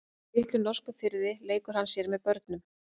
Í litlum norskum firði leikur hann sér með börnum.